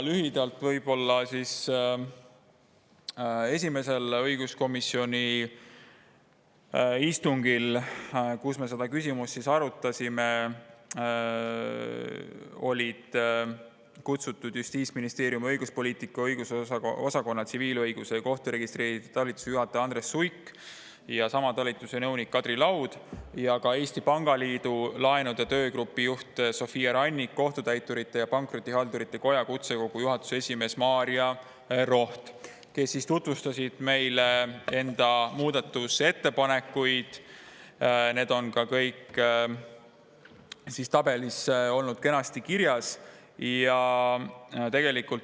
Lühidalt võib-olla mainin, et esimesele õiguskomisjoni istungile, kus me seda küsimust arutasime, olid kutsutud Justiitsministeeriumi õiguspoliitika osakonna tsiviilõiguse ja kohturegistrite talituse juhataja Andres Suik ja sama talituse nõunik Kadri Laud ja ka Eesti Pangaliidu laenude töögrupi juht Sofia Rannik ning Kohtutäiturite ja Pankrotihaldurite Koja kutsekogu juhatuse esimees Maarja Roht, kes tutvustasid meile enda muudatusettepanekuid, mis on ka kõik tabelis kenasti kirjas.